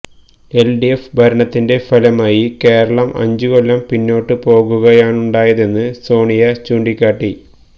L D F ഭരണത്തിന്റെ ഫലമായി കേരളം അഞ്ചുകൊല്ലം പിന്നോട്ട് പോകുകയാണുണ്ടായതെന്ന് സോണിയ ചൂണ്ടിക്കാട്ടി